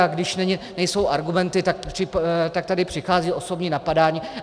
A když nejsou argumenty, tak tady přichází osobní napadání.